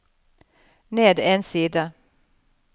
ned en side